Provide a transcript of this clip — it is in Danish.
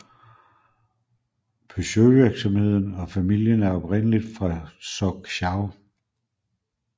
Peugeotvirksomheden og familien er oprindeligt fra Sochaux